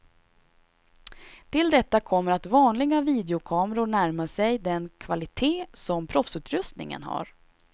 Till detta kommer att vanliga videokameror närmar sig den kvalitet som proffsutrustningen har.